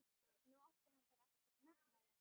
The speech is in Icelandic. Nú átti hann bara eftir að nefna það.